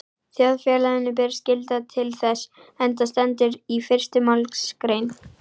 Þjóðfélaginu ber skylda til þess, enda stendur í fyrstu málsgrein